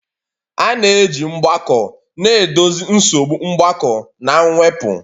A na-eji mgbako na-edozi nsogbu mgbakọ na mwepụ.